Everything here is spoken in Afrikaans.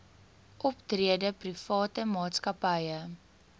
optrede private maatskappye